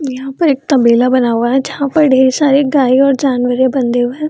यहाँ पर एक तबेला बना हुआ है जहां पर ढेर सारे गाये और जानवरे बंधे हुए है।